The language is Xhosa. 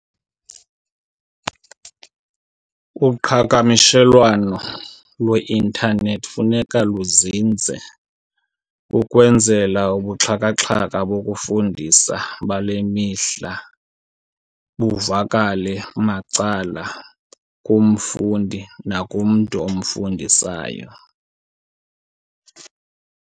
Uqhagamshelwano lweintanethi funeka luzinze ukwenzela ubuxhakaxhaka bokufundisa bale mihla buvakale macala kumfundi nakumntu omfundisayo.